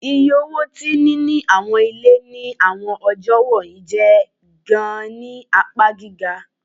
Iye owo ti nini awọn ile ni awọn ọjọ wọnyi jẹ gaan ni apa giga